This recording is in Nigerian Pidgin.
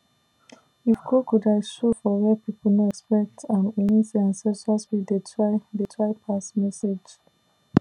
if crocodile show for where people no expect am e mean say ancestral spirit dey try dey try pass message